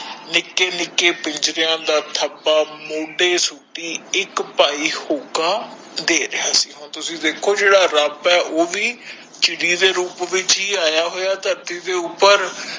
ਨਿਕੇ ਨਿਕੇ ਪਿੰਜਰਾ ਦਾ ਠਬਾ ਮੋਢੇ ਸੁਤੀ ਇਕ ਭਾਈ ਹੂਕਾਂ ਦੇ ਰਿਹਾ ਸੀ ਹੁਣ ਤੁਸੀਂ ਦੇਖੋ ਜੇੜਾ ਰਬ ਓ ਭੀ ਚਿੜੀ ਦੇ ਰੂਪ ਵਿਚ ਹੀ ਆਯਾ ਹੋਯਾ ਧਰਤੀ ਦੇ ਉਪਰ